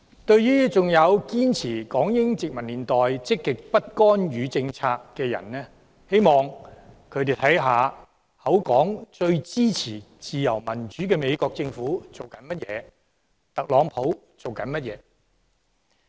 對於仍然堅持香港應採取港英殖民年代積極不干預政策的市民，我希望他們看看嘴裏說最支持自由民主的美國政府正在做甚麼。